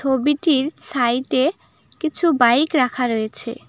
ছবিটির সাইটে কিছু বাইক রাখা রয়েছে।